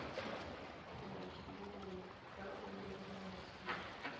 mmisheneng fa o le moseja